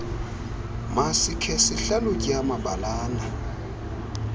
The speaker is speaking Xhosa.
masikhe sihlalutye amabaalana